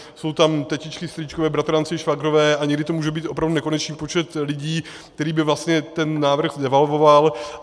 Jsou tam tetičky, strýčkové, bratranci, švagrové a někdy to může být opravdu nekonečný počet lidí, který by vlastně ten návrh devalvoval.